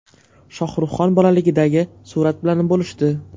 Shohruhxon bolaligidagi surat bilan bo‘lishdi.